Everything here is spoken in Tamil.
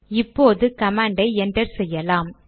இப்போது கமாண்டை என்டர் செய்யலாம்